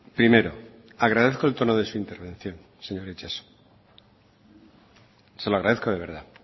primero agradezco el tono de su intervención señor itxaso se lo agradezco de verdad